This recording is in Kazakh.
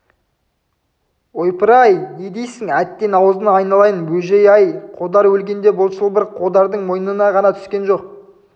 ойпыр-ай не дейсің әттең аузыңнан айналайын бөжей-ай қодар өлгенде бұл шылбыр қодардың мойнына ғана түскен жоқ